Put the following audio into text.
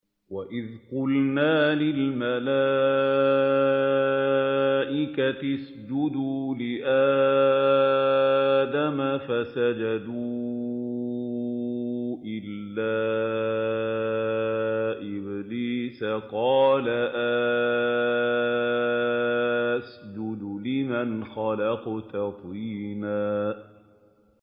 وَإِذْ قُلْنَا لِلْمَلَائِكَةِ اسْجُدُوا لِآدَمَ فَسَجَدُوا إِلَّا إِبْلِيسَ قَالَ أَأَسْجُدُ لِمَنْ خَلَقْتَ طِينًا